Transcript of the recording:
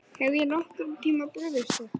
Hef ég nokkurn tíma brugðist þér?